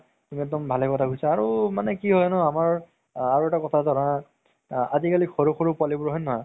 তুমি একদম ভালে কথা কৈছা আৰু মানে কি হয় ন আমাৰ আৰু এটা কথা জানা আজি কালি সৰু সৰু পোৱালিবোৰ হয় নে নহয়